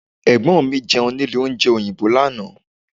Ẹ̀gbọ́n mi Jẹun nílé oúnjẹ òyìnbó lánàá